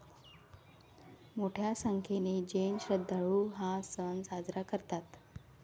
मोठ्या संख्येने जैन श्रद्धाळु हा सण साजरा करतात.